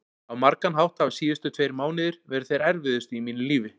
Á margan hátt hafa síðustu tveir mánuðir verið þeir erfiðustu í mínu lífi.